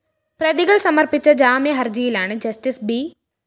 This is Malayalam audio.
പ്രതികള്‍ സമര്‍പ്പിച്ച ജാമ്യഹര്‍ജിയിലാണ് ജസ്റ്റിസ്‌ ബി